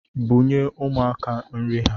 Bunye umuaka nri ha